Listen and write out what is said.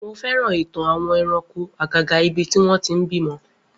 Mo féràn ìtàn àwọn ẹranko àgàgà ibi tí wọn ti ń bímọ